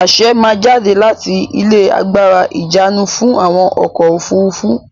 Àṣe máa jáde láti ilé agbára ìjánu fún àwọn ọkọ̀-òfurufú.